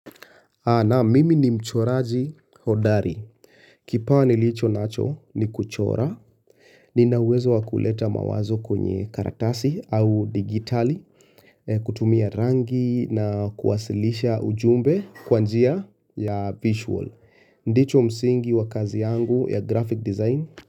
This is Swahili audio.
Naam mimi ni mchoraji hodari. Kipawa nilicho nacho ni kuchora, nina uwezo wa kuleta mawazo kwenye karatasi au digitali, kutumia rangi na kuwasilisha ujumbe kwa njia ya visual. Ndicho msingi wa kazi yangu ya graphic design.